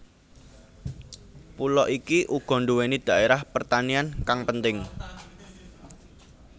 Pulo iki uga nduwéni dhaérah pertanian kang penting